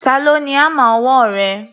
Ta ló ni hámà ọwọ́ rẹ?